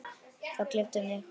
Það gleypti mig.